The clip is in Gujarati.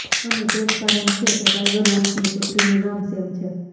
અને તે જ કારણ છે કે ટાઇગર વુડ્સની પુત્રીનું નામ સેમ છે